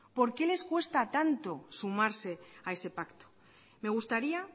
por qué les cuesta tanto sumarse a ese pacto me gustaría